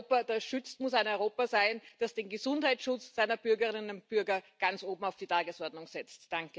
Ein Europa, das schützt, muss ein Europa sein, das den Gesundheitsschutz seiner Bürgerinnen und Bürger ganz oben auf die Tagesordnung setzt.